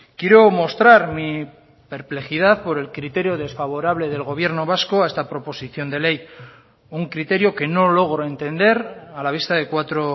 quiero mostrar mi perplejidad por el criterio desfavorable del gobierno vasco a esta proposición de ley un criterio que no logro entender a la vista de cuatro